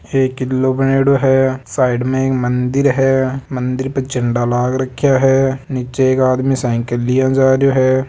एक किलो बनेड़ो है साइड में एक मंदिर है मंदिर पे झंडा लाग रखया है नीचे एक आदमी साइकिल लिए जा रहयो है।